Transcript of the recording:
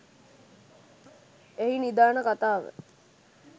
එහි නිධාන කතාව